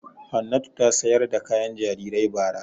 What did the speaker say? Hannatu ta sayar da kayan jarirai bara.